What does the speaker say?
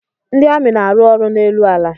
Ndị amị na-arụ ọrụ n'elu ala.